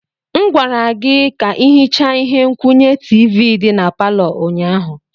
M gwara gị ka ị hichaa ihe nkwụnye tiivi dị na palọ ụnyaahụ.